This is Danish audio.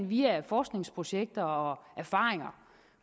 via forskningsprojekter og erfaringer